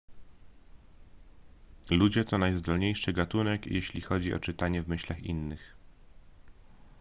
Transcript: ludzie to najzdolniejszy gatunek jeśli chodzi o czytanie w myślach innych